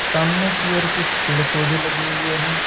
सामने की ओर कुछ पेड़ पौधे लगे हुए हैं।